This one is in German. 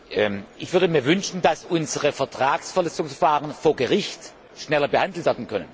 Ich würde mir wünschen, dass unsere Vertragsverletzungsverfahren vor Gericht schneller behandelt werden können.